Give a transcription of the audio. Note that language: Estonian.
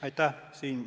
Aitäh!